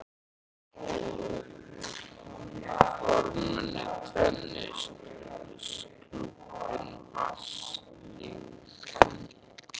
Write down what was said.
fornmuni, tennisklúbbinn, vatnslitamyndir eftir óþekkta listamenn, veggteppi eftir óþekkta listamenn.